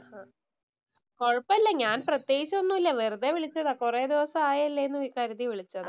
കൊഴപ്പമില്ല. ഞാന്‍ പ്രത്യേകിച്ചൊന്നുമില്ല വെറുതെ വിളിച്ചതാ. കൊറേ ദെവസം ആയില്ലേ എന്ന് കരുതി വിളിച്ചതാ ട്ടോ.